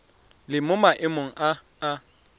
le mo maemong a a